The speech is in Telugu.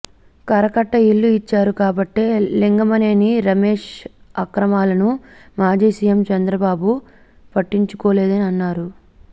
కరకట్ట ఇల్లు ఇచ్చారు కాబట్టే లింగమనేని రమేశ్ అక్రమాలను మాజీ సీఎం చంద్రబాబు పట్టించుకోలేదని అన్నారు